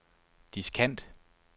diskant